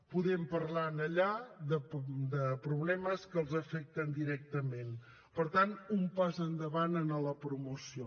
podem parlar allà de problemes que els afecten directament per tant un pas endavant en la promoció